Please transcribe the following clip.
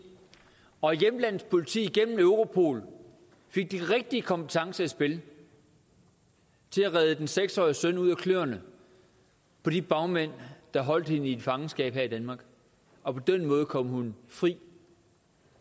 og hjemlandets politi igennem europol fik de rigtige kompetencer i spil til at redde den seks årige søn ud af kløerne på de bagmænd der holdt hende i fangenskab her i danmark og på den måde kom hun fri